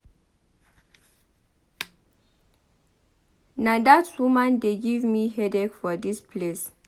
Na dat woman de give me headache for dis place.